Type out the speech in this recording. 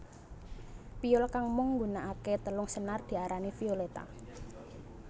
Piyul kang mung nggunakaké telung senar diarani violetta